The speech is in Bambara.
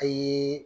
A ye